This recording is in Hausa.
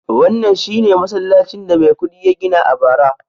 wannan shi ne masallacin da Maikudi ya gina a bara